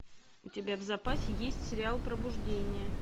у тебя в запасе есть сериал пробуждение